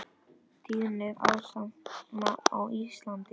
Tíðni astma á Íslandi